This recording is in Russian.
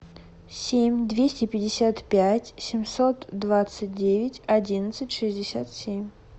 семь двести пятьдесят пять семьсот двадцать девять одиннадцать шестьдесят семь